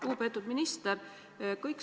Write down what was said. Lugupeetud minister!